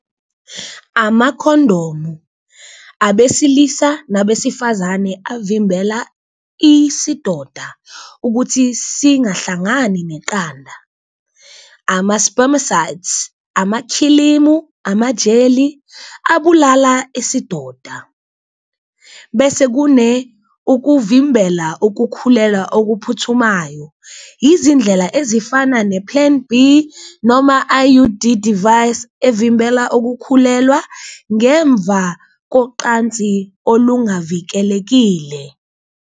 Amakhondomu abesilisa nabesifazane avimbela isidoda ukuthi singahlangani neqanda ama-spermicides, amakhilimu, amajeli abulala isidoda bese kune ukuvimbela ukukhulelwa okuphuthumayo. Izindlela ezifana ne-plan B noma I_U_D device evimbela ukukhulelwa ngemva koqansi olungavikelekile.